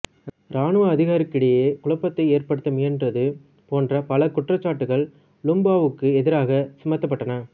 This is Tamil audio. இராணுவத்தினரிடையே குழப்பத்தை ஏற்படுத்த முயன்றது போன்ற பல குற்றச்சாட்டுக்கள் லுமும்பாவுக்கெதிராகச் சுமத்தப்பட்டன